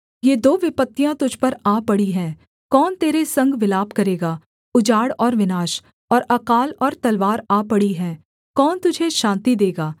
ये दो विपत्तियाँ तुझ पर आ पड़ी हैं कौन तेरे संग विलाप करेगा उजाड़ और विनाश और अकाल और तलवार आ पड़ी है कौन तुझे शान्ति देगा